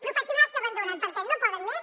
professionals que abandonen perquè no poden més